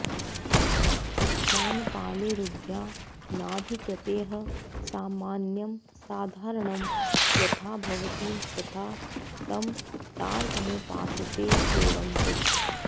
उद्यानपालैरुद्यानाधिकृतैः सामान्यं साधारणं यथा भवति तथा तं तारकमुपासते सेवन्ते